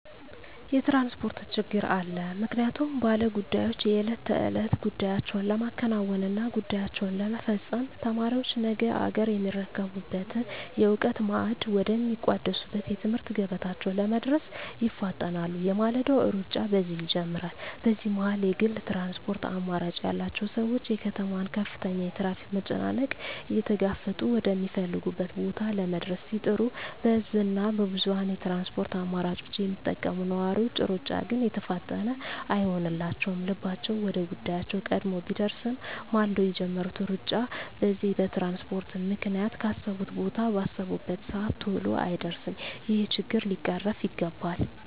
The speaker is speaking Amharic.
የትራንስፖርት ችግር አለ ምክንያቱም ባለ ጉዳዮች የእለት ተእለት ጉዳያቸዉን ለማከናወን እና ጉዳያቸዉን ለመፈፀም፣ ተማሪዎች ነገ አገርየሚረከቡበትን የእዉቀት ማዕድ ወደ ሚቋደሱበት የትምህርት ገበታቸዉ ለመድረስ ይፋጠናሉ የማለዳዉ ሩጫ በዚህ ይጀምራል በዚህ መሀል የግል ትራንስፖርት አማራጭ ያላቸዉ ሰዎች የከተማዋን ከፍተኛ የትራፊክ መጨናነቅ እየተጋፈጡ ወደ ሚፈልጉት ቦታ ለመድረስ ሲጥሩ በህዝብ እና በብዙኀን የትራንስፖርት አማራጮች የሚጠቀሙ ነዋሪዎች ሩጫ ግን የተፋጠነ አይሆንላቸዉም ልባቸዉ ወደ ጉዳያቸዉ ቀድሞ ቢደርስም ማልደዉ የጀመሩት ሩጫ በዚህ በትራንስፖርት ምክንያት ካሰቡት ቦታ ባሰቡበት ሰአት ተሎ አይደርሱም ይሄ ችግር ሊቀረፍ ይገባል